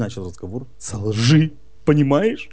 начал разговор со лжи понимаешь